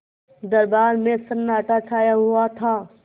दरबार में सन्नाटा छाया हुआ था